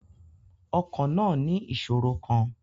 Ọkọ̀ náà ní ìṣòro kan.